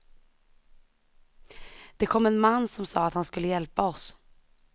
Det kom en man som sa att han skulle hjälpa oss.